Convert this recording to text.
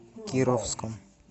кировском